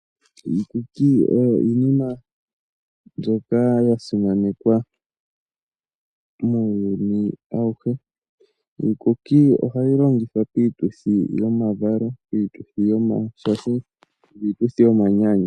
Iikuku oyo iinima mbyoka ya simanekwa muuyuni awuhe. Iikuki ohayi longithwa piituthi yomavalo, piituthi yomashasho, niituthi yomanyanyu.